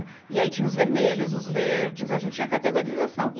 E aí tinha os vermelhos, os verdes, a gente tinha categorização. e